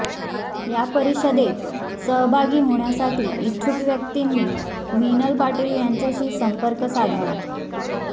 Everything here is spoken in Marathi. या परिषदेत सहभागी होण्यासाठी इच्छुक व्यक्तींनी मीनल पाटील यांच्याशी संपर्क साधावा